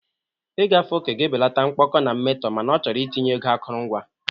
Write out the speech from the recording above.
Ịgafe oke ga-ebelata mkpọkọ na mmetọ mana ọ chọrọ itinye ego akụrụngwa.